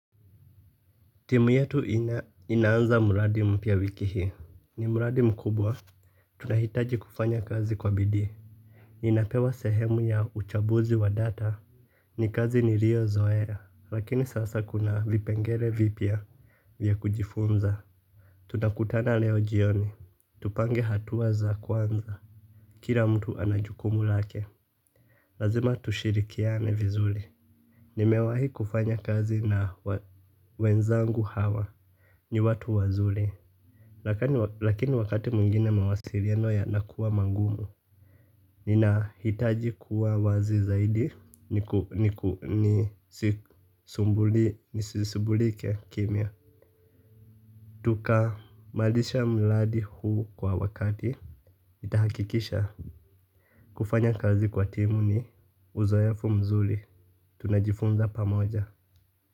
Timu yetu inaanza mradi mpya wiki hii. Ni mradi mkubwa. Tunahitaji kufanya kazi kwa bidii. Ninapewa sehemu ya uchambuzi wa data. Ni kazi niliyo zoe. Lakini sasa kuna vipengele vipia. Vya kujifunza. Tunakutana leo jioni. Tupange hatuwa za kwanza. Kila mtu ana jukumu lake. Lazima tushirikiane vizuri. Nimewahi kufanya kazi na wenzangu hawa. Ni watu wazuri. Lakini wakati mwingine mawasiliano yanakuwa magumu. Nina hitaji kuwa wazi zaidi nisisumbulike kimya. Tuka malisha mladi huu kwa wakati nitahakikisha kufanya kazi kwa timu ni uzoefu mzuri. Tunajifunza pamoja.